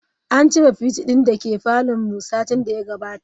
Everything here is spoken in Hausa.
An cire fridge din dake parlour din mu satin daya gabata.